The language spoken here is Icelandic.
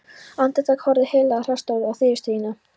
Andartak horfði Heiðló Þrastardóttir á viðurstyggðina